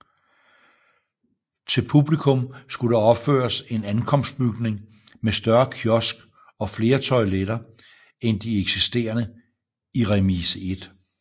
Til publikum skulle der opføres en ankomstbygning med større kiosk og flere toiletter end de eksisterende i Remise 1